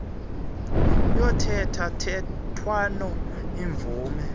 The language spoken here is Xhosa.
yothetha thethwano iimvume